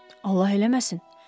Allah eləməsin.